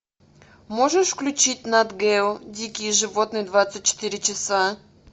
можешь включить нат гео дикие животные двадцать четыре часа